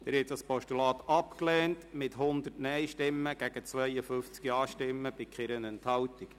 Sie haben dieses Postulat abgelehnt mit 100 Nein- gegen 52 Ja-Stimmen bei keiner Enthaltung.